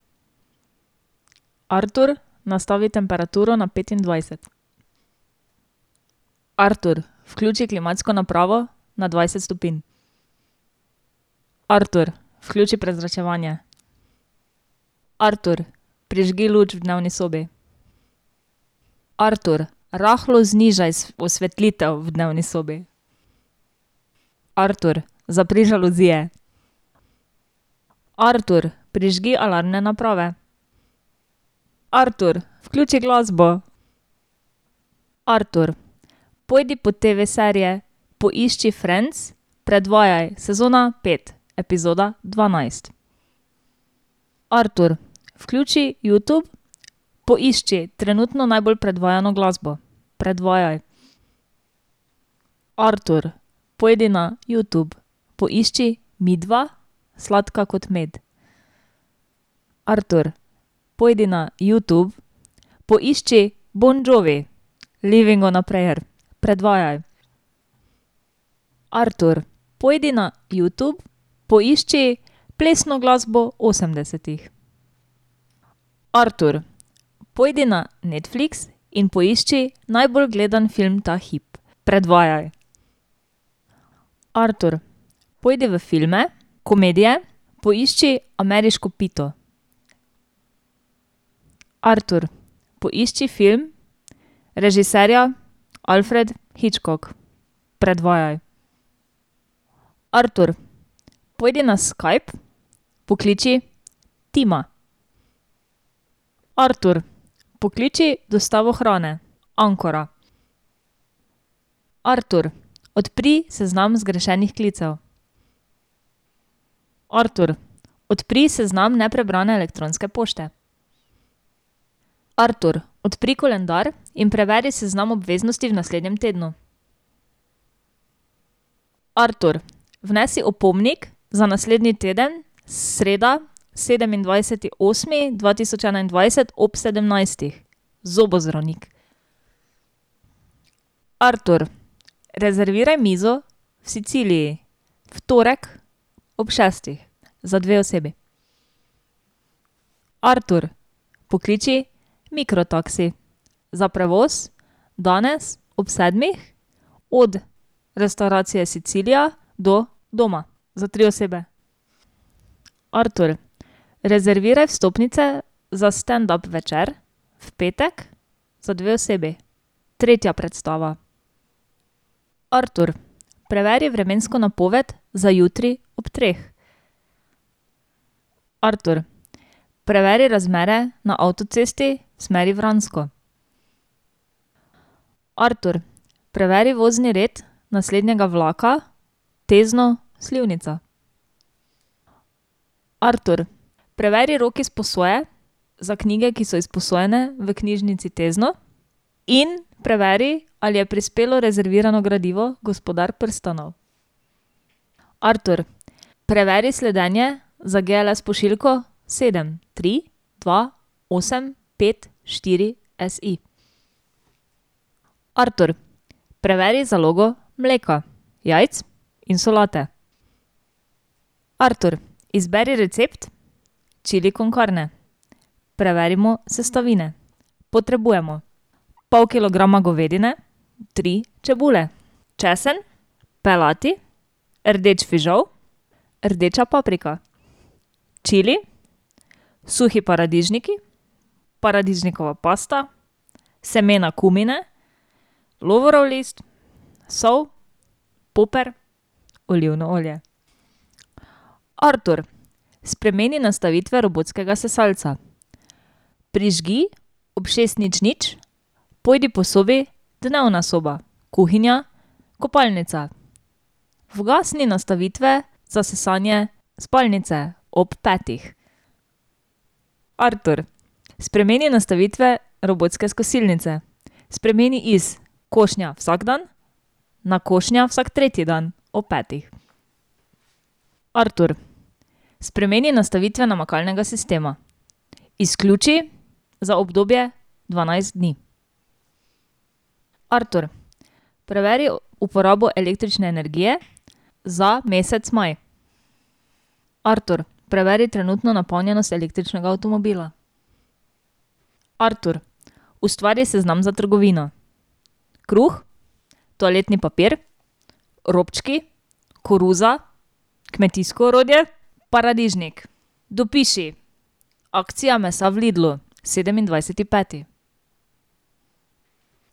Artur, nastavi temperaturo na petindvajset. Artur, vključi klimatsko napravo na dvajset stopinj. Artur, vključi prezračevanje. Artur, prižgi luč v dnevni sobi. Artur, rahlo znižaj osvetlitev v dnevni sobi. Artur, zapri žaluzije. Artur, prižgi alarmne naprave. Artur, vključi glasbo. Artur, pojdi po TV-serije, poišči Friends, predvajaj sezona pet epizoda dvanajst. Artur, vključi Youtube, poišči trenutno najbolj predvajano glasbo. Predvajaj. Artur, pojdi na Youtube, poišči Midva, Sladka kot med. Artur, pojdi na Youtube, poišči Bon Jovi, Livin' on a Prayer. Predvajaj. Artur, pojdi na Youtube, poišči plesno glasbo osemdesetih. Artur, pojdi na Netflix in poišči najbolj gledam film ta hip. Predvajaj. Artur, pojdi v filme, komedije, poišči Ameriško pito. Artur, poišči film režiserja Alfred Hitchcock. Predvajaj. Artur, pojdi na Skype, pokliči Tima. Artur, pokliči dostavo hrane Ancora. Artur, odpri seznam zgrešenih klicev. Artur, odpri seznam neprebrane elektronske pošte. Artur, odpri koledar in preveri seznam obveznosti v naslednjem tednu. Artur, vnesi opomnik za naslednji teden, sreda sedemindvajseti osmi dva tisoč enaindvajset ob sedemnajstih, zobozdravnik. Artur, rezerviraj mizo v Siciliji. V torek ob šestih za dve osebi. Artur, pokliči Mikro taksi za prevoz danes od restavracije Sicilija do doma za tri osebe. Artur, rezerviraj vstopnice za standup večer v petek za dve osebi, tretja predstava. Artur, preveri vremensko napoved za jutri ob treh. Artur, preveri razmere na avtocesti smeri Vransko. Artur, preveri vozni red naslednjega vlaka Tezno Slivnica. Artur, preveri rok izposoje za knjige, ki so izposojene v Knjižnici Tezno, in preveri, ali je prispelo rezervirano gradivo Gospodar prstanov. Artur, preveri sledenje za GLS pošiljko sedem, tri, dva, osem, pet, štiri S I. Artur, preveri zalogo mleka, jajc in solate. Artur, izberi recept chili con carne. Preverimo sestavine. Potrebujemo pol kilograma govedine, tri čebule, česen, pelati, rdeč fižol, rdeča paprika, čili, suhi paradižniki, paradižnikova pasta, semena kumine, lovorov list, sol, poper, olivno olje. Artur, spremeni nastavitve robotskega sesalca. Prižgi ob šest, nič, nič pojdi po sobi, dnevna soba, kuhinja, kopalnica. Ugasni nastavitve za sesanje spalnice ob petih. Artur, spremeni nastavitve robotske kosilnice. Spremeni iz košnja vsak dan na košnja vsak tretji dan ob petih. Artur, spremeni nastavitve namakalnega sistema. Izključi za obdobje dvanajst dni. Artur, preveri uporabo električne energije za mesec maj. Artur, preveri trenutno napolnjenost električnega avtomobila. Artur, ustvari seznam za trgovino kruh, toaletni papir, robčki, koruza, kmetijsko orodje, paradižnik. Dopiši akcija mesa v Lidlu sedemindvajseti peti.